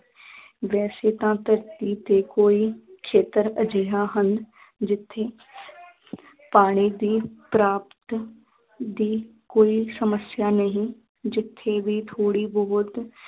ਵੈਸੇ ਤਾਂ ਧਰਤੀ ਤੇ ਕੋਈ ਖੇਤਰ ਅਜਿਹਾ ਹਨ ਜਿੱਥੇ ਪਾਣੀ ਦੀ ਪਰਾਪਤ ਦੀ ਕੋਈ ਸਮੱਸਿਆ ਨਹੀਂ, ਜਿੱਥੇ ਵੀ ਥੋੜ੍ਹੀ ਬਹੁਤ